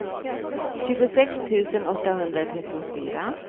tjugosex tusen åttahundratrettiofyra